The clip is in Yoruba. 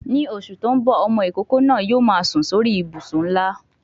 Ni oṣù tí ń bò, ọmọ ìkókó náà yóò máa sùn sórí I ìbùsùn ńlá.